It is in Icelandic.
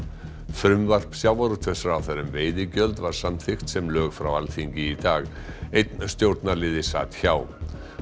frumvarp sjávarútvegsráðherra um veiðigjöld var samþykkt sem lög frá Alþingi í dag einn stjórnarliði sat hjá